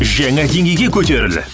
жаңа деңгейге көтеріл